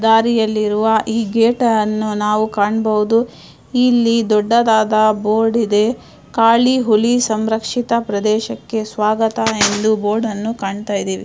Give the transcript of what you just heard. ದಾರಿಯಲ್ಲಿ ಇರುವ ಈ ಗೇಟ್ ಅನ್ನು ನಾವು ಕಾಣಬಹುದು ಇಲ್ಲಿ ದೊಡ್ಡದಾದ ಬೋರ್ಡ್ ಇದೆ ಕಾಳಿ ಹುಲಿ ಸಂರಕ್ಸಿತ ಪ್ರದೇಶಕ್ಕೆ ಸ್ವಾಗತ ಎಂದು ಬೋರ್ಡ್ ಅನ್ನು ಕಾಣುತ್ತಇದೀವಿ.